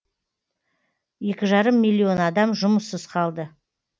екі жарым миллион адам жұмыссыз қалды